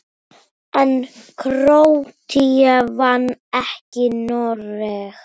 En Króatía vann ekki Noreg.